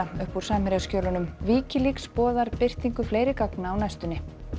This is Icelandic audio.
upp úr Wikileaks boðar birtingu fleiri gagna á næstunni